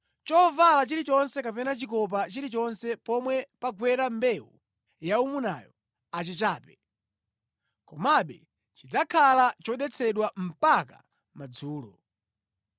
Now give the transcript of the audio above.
Chovala chilichonse kapena chikopa chilichonse pomwe pagwera mbewu yaumunayo achichape, komabe chidzakhala chodetsedwa mpaka madzulo.